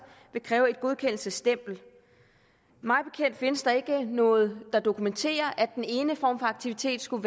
vil kræve et godkendelsesstempel mig bekendt findes der ikke noget der dokumenterer at den ene form for aktivitet skulle